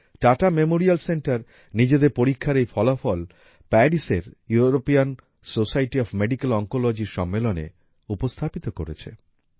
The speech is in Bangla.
টাটা মেমোরিয়াল সেন্টার নিজেদের পরীক্ষার এই ফলাফল প্যারিসের European society of medical oncology র সম্মেলনে উপস্থাপিত করেছে